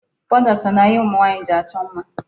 Powder so na ihe ụmụ nwaanyị ji achọ mma.